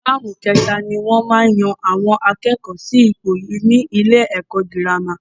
Táàmù ké ta ni wọ́n maá yan àwọn akẹ́kọ̀ọ́ sí ipò ni ilé ẹ̀kọ́ girama